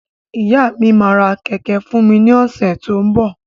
Ìyá mi máa ra kẹ̀kẹ́ fún mi ní ọ̀sẹ̀ tó ń bọ̀.